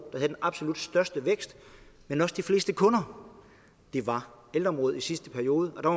havde den absolut største vækst men også de fleste kunder det var ældreområdet i sidste periode der